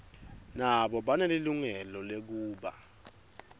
nabo banelilungelo lekuba